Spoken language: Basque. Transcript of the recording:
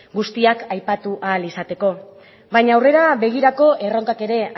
guztiak aipatu ahal izateko baina aurrera begirako erronkak ere